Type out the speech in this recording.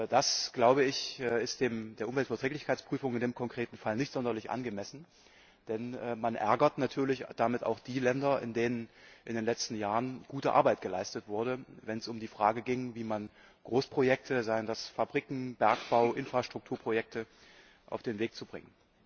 Das ist der Umweltverträglichkeitsprüfung in dem konkreten Fall nicht sonderlich angemessen, denn man ärgert natürlich damit auch die Länder, in denen in den letzten Jahren gute Arbeit geleistet wurde, wenn es um die Frage ging, wie man Großprojekte seien das Fabriken, Bergbau, Infrastrukturprojekte auf den Weg bringt.